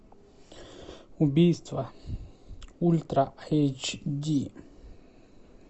убийство ультра эйч ди